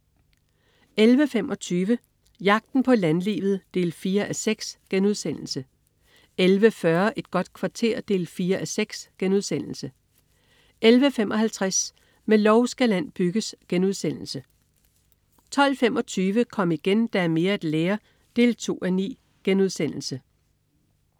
11.25 Jagten på landlivet 4:6* 11.40 Et godt kvarter 4:6* 11.55 Med lov skal land bygges* 12.25 Kom igen, der er mere at lære 2:9*